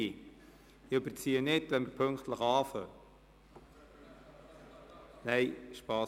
Ich überziehe nicht, wenn wir pünktlich anfangen können.